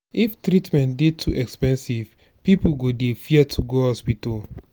if treatment dey too expensive pipo go dey fear to go hospital